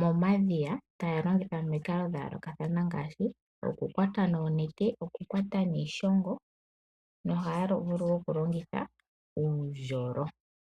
momadhiya taya longitha omikalo dha yoolokathana ngaashi: okukwata noonete, okukwata niishongo nohaya vulu wo okulongitha uundjolo.